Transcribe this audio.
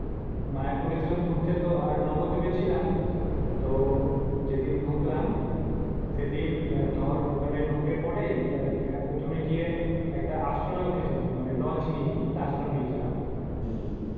মায়াপুরি গেছিলাম ঘুরতে আর নবর দীপে ছিলাম। তো যেদিন ডুকলাম সেদিন দর ওখানে ডুকে প্রথমে গিয়ে একটা আশ্রমে উঠেছিলাম মানি লজ নেইনি আশ্রমে উঠেছিলাম।